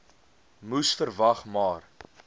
moes verwag maar